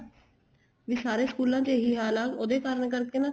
ਵੀ ਸਾਰੇ ਸਕੂਲਾਂ ਚ ਇਹੀ ਹਾਲ ਆ ਉਹਦੇ ਕਾਰਨ ਕਰਕੇ ਨਾ